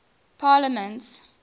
parliaments